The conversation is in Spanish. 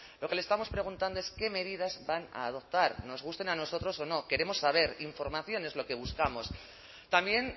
lo que le estamos preguntando es qué medidas van a adoptar nos gusten a nosotros o no queremos saber información es lo que buscamos también